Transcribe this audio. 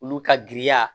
Olu ka giriya